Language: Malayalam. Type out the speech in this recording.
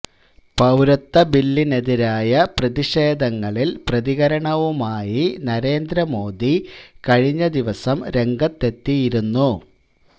പൌരത്വ ബില്ലിനെതിരായ പ്രതിഷേധങ്ങളില് പ്രതികരണവുമായി നരേന്ദ്ര മോദി കഴിഞ്ഞ ദിവസം രംഗത്തെത്തിയിരുന്നു